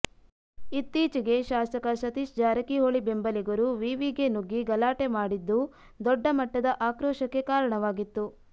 ಇತ್ತೀಚಿಗೆ ಶಾಸಕ ಸತೀಶ ಜಾರಕಿಹೊಳಿ ಬೆಂಬಲಿಗರು ವಿವಿಗೆ ನುಗ್ಗಿ ಗಲಾಟೆ ಮಾಡಿದ್ದು ದೊಡ್ಡ ಮಟ್ಟದ ಆಕ್ರೋಶಕ್ಕೆ ಕಾರಣವಾಗಿತ್ತು